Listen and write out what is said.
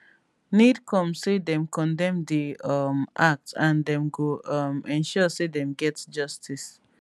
nidcom say dem condemn di um act and dem go um ensure say dem get justice